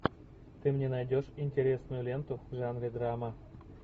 ты мне найдешь интересную ленту в жанре драма